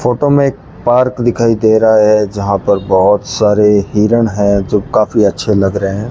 Photo में एक park दिखाई दे रहा है जहां पर बहोत सारे हिरण है जो काफी अच्छे लग रहे है।